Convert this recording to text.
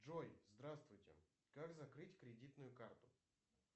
джой здравствуйте как закрыть кредитную карту